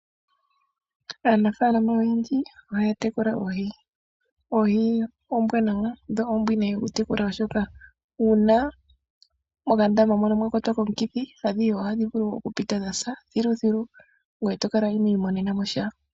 Aanafalama oyendji ohaya tekula oohi. Oohi ombwanawa dho ombwinayi oku tekula, oshoka uuna mokandama mono mwa kwatwa komukithi adhihe ohadhi vulu oku pita dhasa thilu thilu ngoye to kala ino imonena mosha.